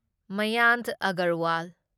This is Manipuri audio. ꯃꯌꯥꯟꯛ ꯑꯒꯔꯋꯥꯜ